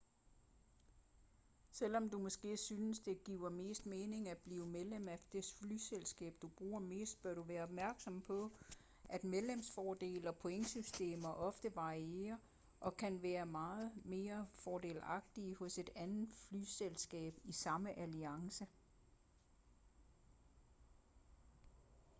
selvom du måske synes det giver mest mening at blive medlem af det flyselskab du bruger mest bør du være opmærksom på at medlemsfordele og pointsystemer ofte varierer og kan være mere fordelagtige hos et andet flyselskab i samme alliance